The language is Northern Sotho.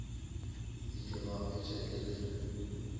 ile ba hwetša e le